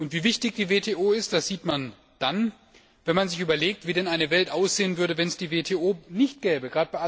Wie wichtig die WTO ist, sieht man dann, wenn man sich überlegt, wie denn die Welt aussehen würde, wenn es die WTO nicht gäbe.